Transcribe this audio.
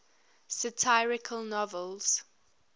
satirical novels